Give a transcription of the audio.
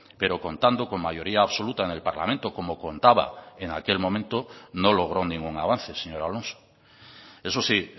pero contando con mayoría absoluta en el parlamento como contaba en aquel momento no logró ningún avance señor alonso eso sí